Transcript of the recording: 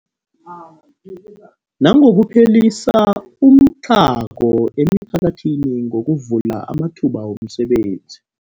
Nangokuphelisa umtlhago emiphakathini ngokuvula amathuba wemisebenzi.